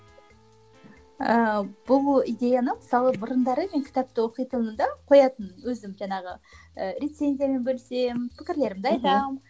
ыыы бұл идеяны мысалы бұрындары мен кітапты оқитынмын да қоятынмын өзім жаңағы ы рецензиямен бөлісемін пікірлерімді айтамын